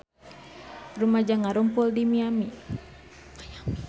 Rumaja ngarumpul di Miami